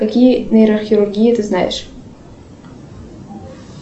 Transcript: какие нейрохирургии ты знаешь